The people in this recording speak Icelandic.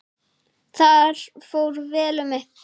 Þar fór vel um mig.